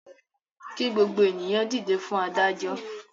Kí gbogbo ènìyàn dìde fún adájọ́!